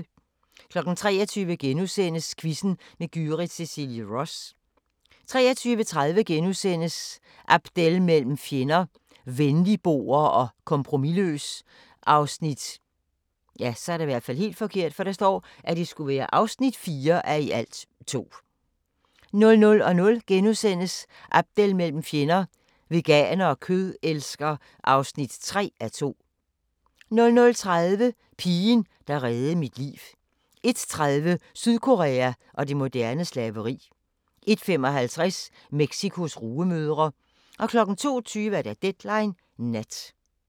23:00: Quizzen med Gyrith Cecilie Ross * 23:30: Abdel mellem fjender – Venligboer og kompromisløs (4:2)* 00:00: Abdel mellem fjender – Veganer og kødelsker (3:2)* 00:30: Pigen, der reddede mit liv 01:30: Sydkorea og det moderne slaveri 01:55: Mexicos rugemødre 02:20: Deadline Nat